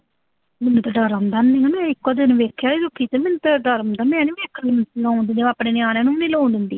ਮੈਨੂੰ ਤਾਂ ਡਰ ਲਗਦਾ। ਮੈਂ ਨਾ ਇਕੋ ਦਿਨ ਵੇਖਇਆ, ਡਰ ਹੁੰਦਾ ਮੈਂ ਨੀਂ ਵੇਖਣ ਨੂੰ ਲਾਉਂਦੀ, ਮੈਂ ਆਪਣੇ ਨਿਆਣਿਆਂ ਨੂੰ ਵੀ ਨੀਂ ਲਾਉਣ ਦਿੰਦੀ